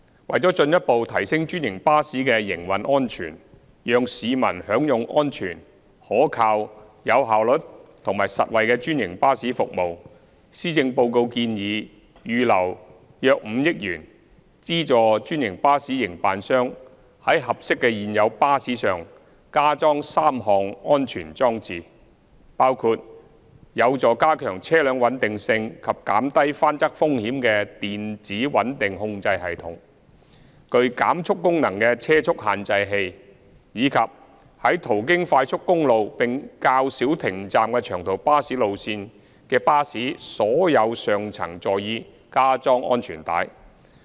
為進一步提升專營巴士的營運安全，讓市民享用安全、可靠、有效率及實惠的專營巴士服務，施政報告建議預留約5億元，資助專營巴士營辦商在合適的現有巴士上加裝3項安全裝置，包括有助加強車輛穩定性及減低翻側風險的電子穩定控制系統、具減速功能的車速限制器，以及在途經快速公路並較少停站的長途巴士路線的巴士所有上層座椅加裝安全帶。